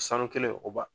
Sanu kelen o ba